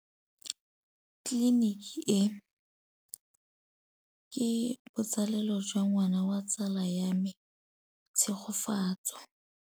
Tleliniki e, ke botsalêlô jwa ngwana wa tsala ya me Tshegofatso.